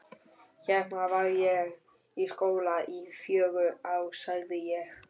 Hérna var ég í skóla í fjögur ár sagði ég.